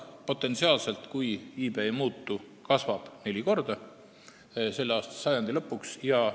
Nii et kui iive ei muutu, kasvab Aafrika rahvaarv selle sajandi lõpuks potentsiaalselt neli korda.